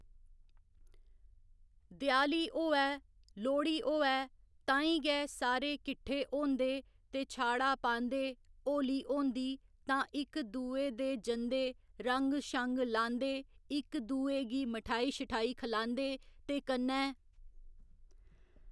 देआली होऐ लोह्ड़ी होऐ ताहीं गै सारे किट्ठे होंदे ते छाड़ा पांदे होली होंदी तां इक्क दूऐ दे जंदे रंग छंग लांदे इक्क दूऐ गी मठाई शठाई खलांदे ते कन्नै